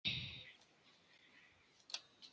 Mamma í bæinn.